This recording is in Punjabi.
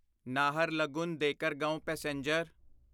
ਨਾਹਰਲਗੁਨ ਦੇਕਰਗਾਓਂ ਪੈਸੇਂਜਰ